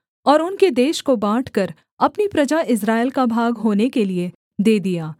और उनके देश को बाँटकर अपनी प्रजा इस्राएल का भाग होने के लिये दे दिया